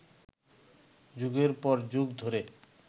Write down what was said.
যুগের পর যুগ ধরে